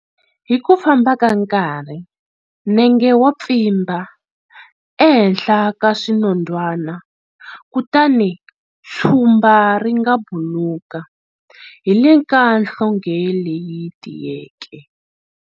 Hi ku famba ka nkarhi, nenge wa pfimba ehenhla ka swinondzwana kutani tshumba ri nga buluka hi le ka nhlonge leyi tiyeke.